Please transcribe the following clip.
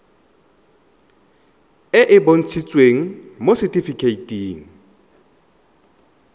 e e bontshitsweng mo setifikeiting